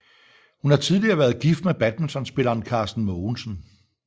Hun har tidligere været gift med badmintonspilleren Carsten Mogensen